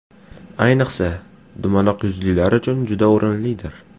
Ayniqsa, dumaloq yuzlilar uchun juda o‘rinlidir.